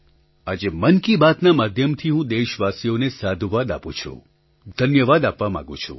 આજે મન કી બાતના માધ્યમથી હું દેશવાસીઓને સાધુવાદ આપું છું ધન્યવાદ આપવા માગું છું